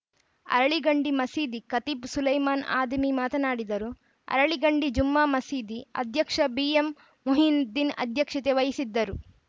ಅರಳಿಗಂಡಿ ಮಸೀದಿ ಖತೀಬ್‌ ಸುಲೈಮಾನ್‌ ಆದಿಮಿ ಮಾತನಾಡಿದರು ಅರಳಿಗಂಡಿ ಜುಮ್ಮಾ ಮಸೀದಿ ಅಧ್ಯಕ್ಷ ಬಿಎಂಮೊಹಿದ್ದೀನ್‌ ಅಧ್ಯಕ್ಷತೆ ವಹಿಸಿದ್ದರು